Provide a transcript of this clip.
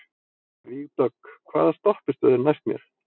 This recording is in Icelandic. Vígdögg, hvaða stoppistöð er næst mér?